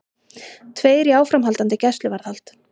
Tveir í áframhaldandi gæsluvarðhald